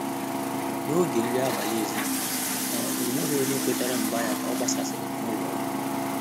N’ógè nrí ábàlị̀ èzínụ́lọ́, ọ́ ọ́ nwéghị́ ọ́nyé kwétàrà mgbà yá kà ọ́ gbàsàsị́rị̀ n’ụ́lọ́ ọ́gwụ́.